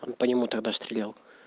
он по нему тогда стрелял